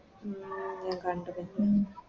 ഉം ഞാൻ കണ്ടു പിന്നെ